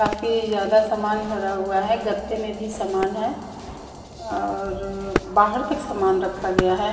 काफी ज्यादा सामान भरा हुआ है गत्ते में भी सामान है और बाहर तक सामान रखा गया है।